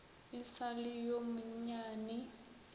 e sa le yo monnyane